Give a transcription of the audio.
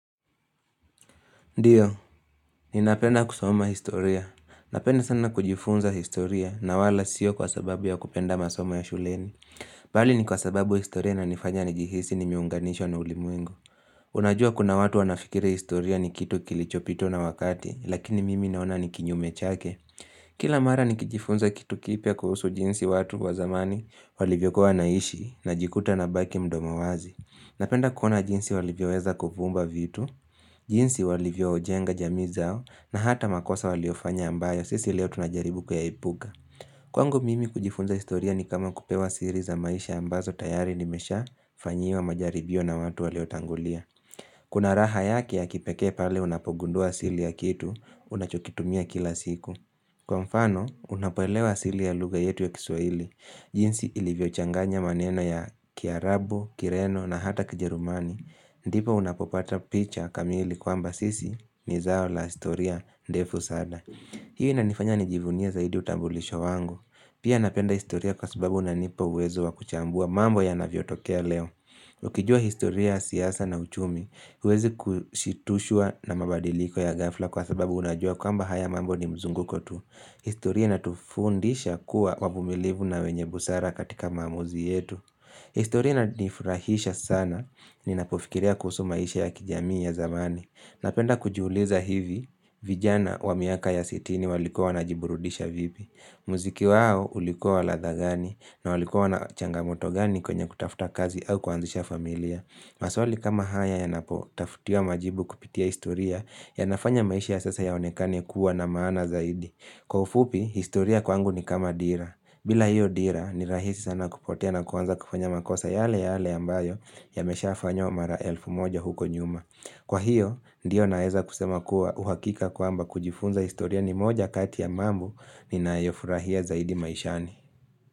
Ndiyo, ninapenda kusoma historia. Napenda sana kujifunza historia na wala sio kwa sababu ya kupenda masoma ya shuleni. Bali ni kwa sababu historia inaniifanya nijihisi nimiunganishwa na ulimwengo. Unajua kuna watu wanafikiri historia ni kitu kilichopitwa na wakati, lakini mimi naona ni kinyume chake. Kila mara nikijifunza kitu kipya kuhusu jinsi watu wa zamani walivyokuwa wanaishi najikuta nabaki mdomo wazi. Napenda kuona jinsi walivyo weza kuviumba vitu, jinsi walivyojenga jamii zao na hata makosa waliofanya ambayo sisi leo tunajaribu kuyaepuka. Kwangu mimi kujifunza historia ni kama kupewa siri za maisha ambazo tayari nimesha fanyiwa majaribio na watu walio tangulia. Kuna raha yake ya kipekae pale unapogundua asili ya kitu, unachokitumia kila siku. Kwa mfano, unapoelewa asili ya lugha yetu ya kiswaili, jinsi ilivyo changanya maneno ya kiarabu, kireno na hata kijerumani, ndipo unapopata picha kamili kwamba sisi ni zao la historia ndefu sana Hii inanifanya nijivunie zaidi utambulisho wangu. Pia napenda historia kwa sababu unanipa uwezo wa kuchambua mambo yanavyotokea leo Ukijua historia siasa na uchumi, huwezi kushitushwa na mabadiliko ya ghafla Kwa sababu unajua kwamba haya mambo ni mzunguko tu historia inatufundisha kuwa wavumilivu na wenye busara katika maamuzi yetu historia inanifurahisha sana Ninapofikiria kuhusu maisha ya kijami ya zamani. Napenda kujiuliza hivi vijana wa miaka ya sitini waliku wanajiburudisha vipi? Muziki wao ulikuwa wa ladha gani? Na walikuwa na changamoto gani kwenye kutafuta kazi au kuanzisha familia? Maswali kama haya yanapotafutiwa majibu kupitia historia, yanafanya maisha ya sasa yaonekane kuwa na maana zaidi. Kwa ufupi, historia kwangu ni kama dira. Bila hiyo dira, ni rahisi sana kupotea na kuanza kufanya makosa yale yale ambayo Yameshafanyww mara elfu moja huko nyuma. Kwa hiyo, ndiyo naeza kusema kuwa uhakika kwamba kujifunza historia ni moja kati ya mambo ninayofurahia zaidi maishani.